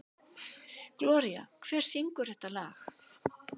Gloría, hver syngur þetta lag?